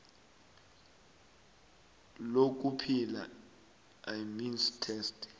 lokuphila imeans test